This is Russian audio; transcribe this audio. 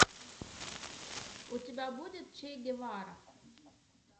у тебя будет че гевара